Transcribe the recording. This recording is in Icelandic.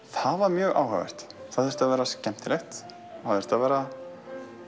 það var mjög áhugavert það þurfti að vera skemmtilegt það þurfti að vera